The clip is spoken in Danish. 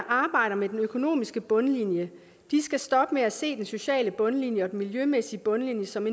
arbejder med den økonomiske bundlinje skal stoppe med at se den sociale bundlinje og den miljømæssige bundlinje som